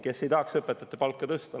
Kes ei tahaks õpetajate palka tõsta?